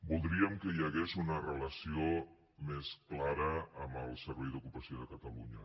voldríem que hi hagués una relació més clara amb el servei d’ocupació de catalunya